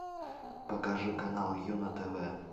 покажи канал юна тв